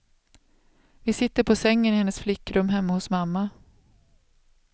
Vi sitter på sängen i hennes flickrum hemma hos mamma.